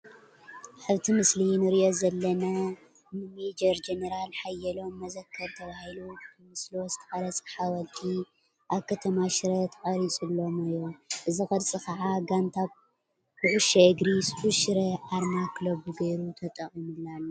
ኣብቲ ምስሊ ንሪኦ ዘለና ንሜጀር ጀነራል ሓየሎም መዘከሪ ተባሂሉ ብምስሎ ዝተቐረፀ ሓወልቲ ኣብ ከተማ ሽረ ተቐሪፁሎም እዩ፡፡ እዚ ቅርፂ ከዓ ጋንታ ኩዕሾ እግሪ ስሑል ሽረ ኣርማ ክለቡ ገይሩ ተጠቒሙሉ ኣሎ፡፡